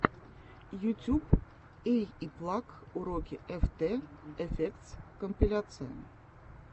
ютьюб эйиплаг уроки эфтэ эфектс компиляция